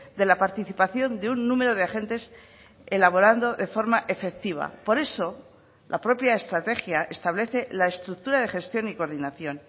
de la participación de un número de agentes elaborando de forma efectiva por eso la propia estrategia establece la estructura de gestión y coordinación